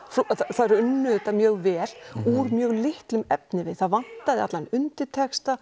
þær unnu þetta mjög vel úr mjög litlum efnivið það vantaði allan undirtexta